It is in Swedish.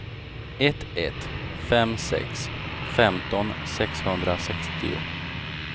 ett ett fem sex femton sexhundrasextio